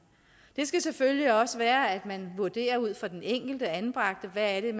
det skal selvfølgelig også være sådan at man vurderer ud fra den enkelte anbragte hvad det er